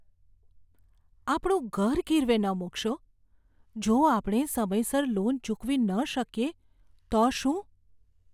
આપણું ઘર ગીરવે ન મૂકશો. જો આપણે સમયસર લોન ચૂકવી ન શકીએ તો શું?